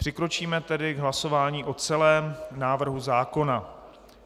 Přikročíme tedy k hlasování o celém návrhu zákona.